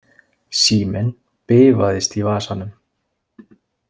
Síminn bifaðist í vasanum.